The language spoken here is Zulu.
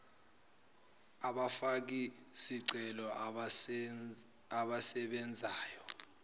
abafaki zicelo abasebenzayo